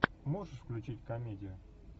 можешь включить комедию